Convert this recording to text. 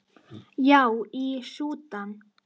Já, í Súdan.